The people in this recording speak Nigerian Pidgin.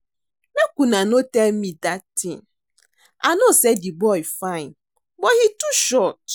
Make una no dey tell me dat thing, I know say the boy fine but he too short